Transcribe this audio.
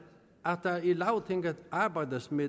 at der i lagtinget arbejdes med